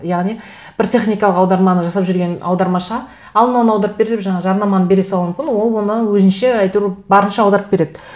яғни бір техникалық аударманы жасап жүрген аудармашыға ал мынаны аударып бер деп жаңағы жарнаманы бере салуы мүмкін ол оны өзіңше әйтеуір барынша аударып береді